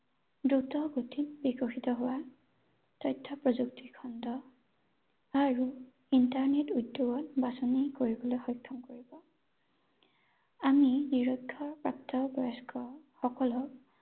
দ্ৰুত গতিত বিকশিত হোৱা তথ্য প্ৰযুক্তি খণ্ড আৰু internet উদ্যোগত বাচনি কৰিবলৈ সক্ষম কৰিব আমি নিৰক্ষ, প্ৰাপ্তবয়স্ক সকলক